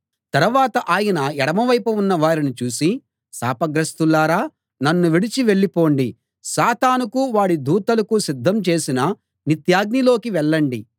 తరవాత ఆయన ఎడమవైపున ఉన్నవారిని చూసి శాపగ్రస్తులారా నన్ను విడిచి వెళ్ళండి సాతానుకు వాడి దూతలకు సిద్ధం చేసిన నిత్యాగ్నిలోకి వెళ్ళండి